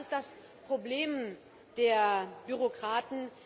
Und das ist das Problem der Bürokraten.